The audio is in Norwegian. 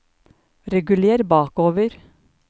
reguler bakover